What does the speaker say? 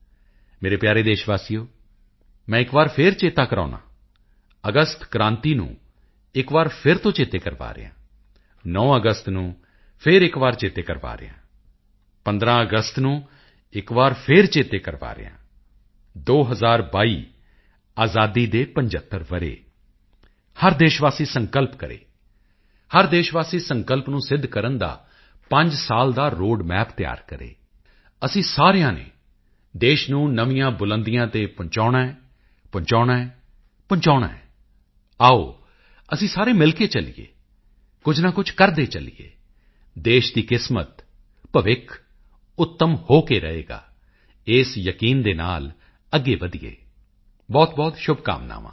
ਮੇਰੇ ਪਿਆਰੇ ਦੇਸ਼ ਵਾਸੀਓ ਮੈਂ ਇੱਕ ਵਾਰ ਫੇਰ ਚੇਤੇ ਕਰਵਾਉਦਾ ਹਾਂ ਅਗਸਤ ਕ੍ਰਾਂਤੀ ਨੂੰ ਇੱਕ ਵਾਰੀ ਫੇਰ ਤੋਂ ਚੇਤੇ ਕਰਵਾ ਰਿਹਾ ਹਾਂ 9 ਅਗਸਤ ਨੂੰ ਫੇਰ ਇੱਕ ਵਾਰੀ ਚੇਤੇ ਕਰਵਾ ਰਿਹਾ ਹਾਂ 15 ਅਗਸਤ ਨੂੰ ਇੱਕ ਵਾਰ ਫੇਰ ਚੇਤੇ ਕਰਵਾ ਰਿਹਾ ਹਾਂ 2022 ਆਜ਼ਾਦੀ ਦੇ 75 ਵਰ੍ਹੇ ਹਰ ਦੇਸ਼ ਵਾਸੀ ਸੰਕਲਪ ਕਰੇ ਹਰ ਦੇਸ਼ ਵਾਸੀ ਸੰਕਲਪ ਨੂੰ ਸਿੱਧ ਕਰਨ ਦਾ 5 ਸਾਲ ਦਾ ਰੋਡ ਮੈਪ ਤਿਆਰ ਕਰੇ ਅਸੀਂ ਸਾਰਿਆਂ ਨੇ ਦੇਸ਼ ਨੂੰ ਨਵੀਆਂ ਬੁਲੰਦੀਆਂ ਤੇ ਪਹੁੰਚਾਉਣਾ ਹੈ ਪਹੁੰਚਾਉਣਾ ਹੈ ਪਹੁੰਚਾਉਣਾ ਹੈ ਆਓ ਅਸੀਂ ਸਾਰੇ ਮਿਲ ਕੇ ਚੱਲੀਏ ਕੁਝ ਨਾ ਕੁਝ ਕਰਦੇ ਚੱਲੀਏ ਦੇਸ਼ ਦੀ ਕਿਸਮਤ ਭਵਿੱਖ ਉੱਤਮ ਹੋ ਕੇ ਰਹੇਗਾ ਇਸ ਯਕੀਨ ਦੇ ਨਾਲ ਅੱਗੇ ਵਧੀਏ ਬਹੁਤਬਹੁਤ ਸ਼ੁਭਕਾਮਨਾਵਾਂ